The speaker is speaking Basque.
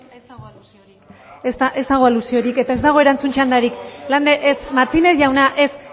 ez dago alusiorik eta ez dago erantzun txandarik lander ez martínez jauna ez